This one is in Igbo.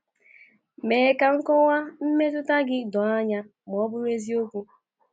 Mee ka nkọwa mmetụta gị doo anya ma bụrụ eziokwu.